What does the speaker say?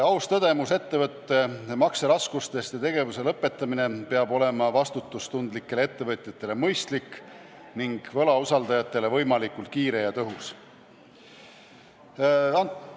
Aus tõdemus ettevõtte makseraskustest ja tegevuse lõpetamine peab olema vastutustundlikele ettevõtjatele mõistlik ning võlausaldajatele võimalikult kiire ja tõhus.